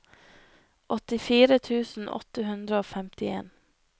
åttifire tusen åtte hundre og femtien